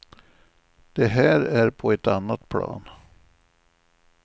Det här är på ett annat plan.